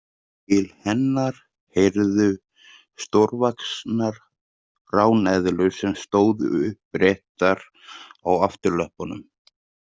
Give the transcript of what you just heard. Til hennar heyrðu stórvaxnar ráneðlur sem stóðu uppréttar á afturlöppunum.